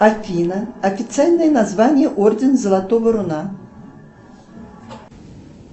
афина официальное название орден золотого руна